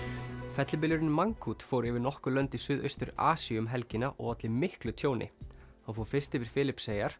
fellibylurinn Mangkhut fór yfir nokkur lönd í Suðaustur Asíu um helgina og olli miklu tjóni hann fór fyrst yfir Filippseyjar